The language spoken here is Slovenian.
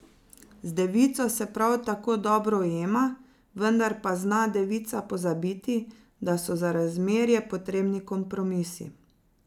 Z devico se prav tako dobro ujema, vendar pa zna devica pozabiti, da so za razmerje potrebni kompromisi.